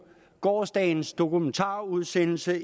gårsdagens dokumentarudsendelse